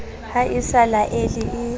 ha e sa laele e